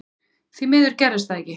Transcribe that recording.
Því miður gerðist það ekki.